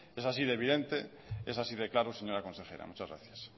es así de evidente es así de claro señora consejera muchas gracias